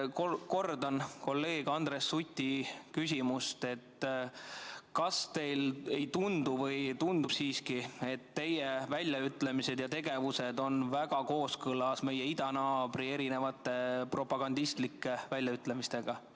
Kordan kolleeg Andres Suti küsimust: kas teile ei tundu või tundub siiski, et teie väljaütlemised ja tegevus on väga kooskõlas meie idanaabri propagandistlike väljaütlemistega?